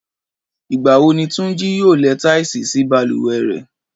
Ìgbà wo ni Túnjí yóò lẹ táìsì sí balùwẹ̀ rẹ̀?